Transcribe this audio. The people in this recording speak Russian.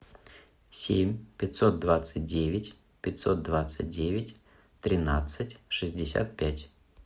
семь пятьсот двадцать девять пятьсот двадцать девять тринадцать шестьдесят пять